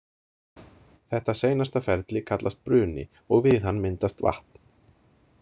Þetta seinasta ferli kallast bruni og við hann myndast vatn.